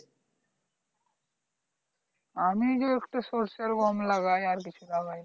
আমি যে একটু সর্ষে আর গম লাগাই আর কিছু লাগাই না